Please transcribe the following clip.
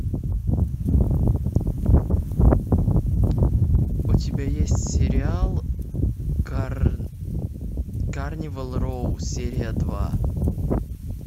у тебя есть сериал карнивал роу серия два